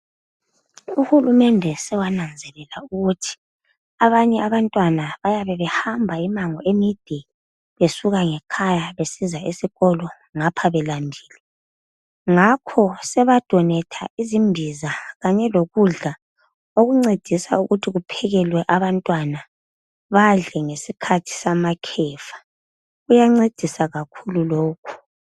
uhulumende sewananzelela ukuthi abanye abantwana bayabe behamba imango emide besuka ngekhaya besiza esikolo ngapha belambile ngakho seba donator izimbiza kanye lokudla okuncedisa kuphekelwe abantwana badle ngesikhathi samakhefa kuyancedisa kakhulu lokhu